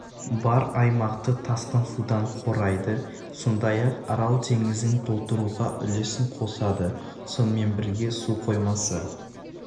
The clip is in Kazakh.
бар аймақты тасқын судан қорайды сондай-ақ арал теңізін толтыруға үлесін қосады сонымен бірге су қоймасы